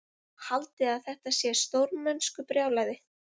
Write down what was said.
Haldiði að þetta sé stórmennskubrjálæði?